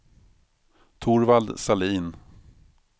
Torvald Sahlin